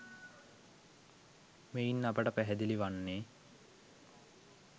මෙයින් අපට පැහැදිලි වන්නේ